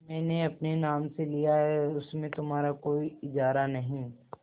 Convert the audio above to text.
मैंने अपने नाम से लिया है उसमें तुम्हारा कोई इजारा नहीं